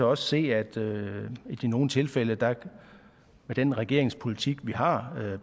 også se at det i nogle tilfælde med den regeringspolitik vi har